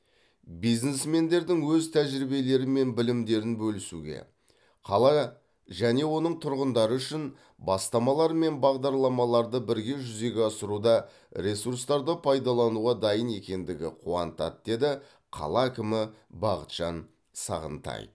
бизнесмендердің өз тәжірибелері мен білімдерін бөлісуге қала және оның тұрғындары үшін бастамалар мен бағдарламаларды бірге жүзеге асыруда ресурстарды пайдалануға дайын екендігі қуантады деді қала әкімі бақытжан сағынтай